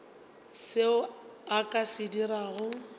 seo a ka se dirago